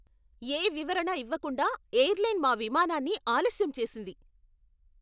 ఏ వివరణ ఇవ్వకుండా ఎయిర్లైన్ మా విమానాన్ని ఆలస్యం చేసింది.